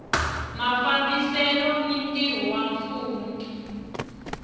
mafambisele ni ntirho wa mfumo